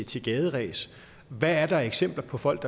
til gaderæs hvad er der af eksempler på folk